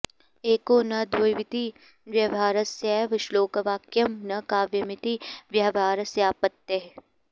एको न द्वाविति व्यवहारस्यैव श्लोकवाक्यं न काव्यमिति व्यवहारस्यापत्तेः